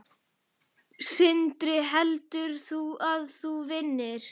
Sindri: Heldur þú að þú vinnir?